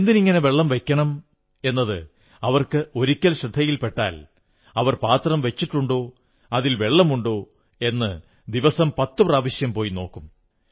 എന്തിനിങ്ങനെ വെള്ളം വയ്ക്കണം എന്നത് അവർക്ക് ഒരിക്കൽ ശ്രദ്ധയിൽപ്പെട്ടാൽ അവർ പാത്രം വച്ചിട്ടുണ്ടോ അതിൽ വെള്ളമുണ്ടോ എന്ന് ദിവസം പത്തു പ്രാവശ്യം പോയി നോക്കും